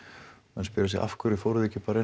menn spyrja sig af hverju fóruð þið ekki bara